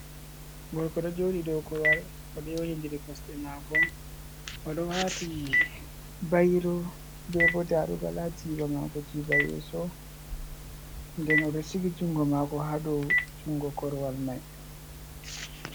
Gorko ɗo jooɗi dow korowal, o ɗo yowdindiri kosɗe maako, o ɗon waatii bayro, be bo darugal haa jiiba maako, jiiba yeeso. Nden o ɗo siki junngo maako, haa dow junngo korwal may.